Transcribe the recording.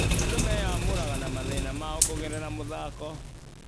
Andũ meyamũraga na mathĩna mao kũgerera mũthako.